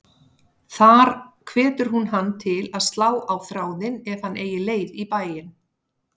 Þar hvetur hún hann til að slá á þráðinn ef hann eigi leið í bæinn.